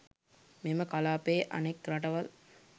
මෙම කලාපයේ අනෙක් රටවල්